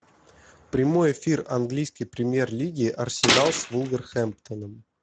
прямой эфир английской премьер лиги арсенал с вулверхэмптоном